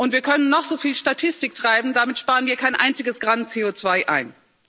Und wir können noch so viel Statistik treiben, damit sparen wir kein einziges Gramm CO2 ein.